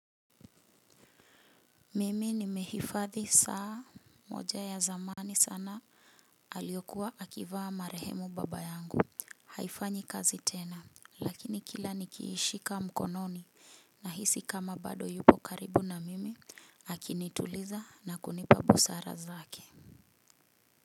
Mimi nimehifadhi saa moja ya zamani sana aliyokua akivaa marehemu baba yangu. Haifanyi kazi tena lakini kila nikiishika mkononi na hisi kama bado yupo karibu na mimi hakinituliza na kunipa busara zake.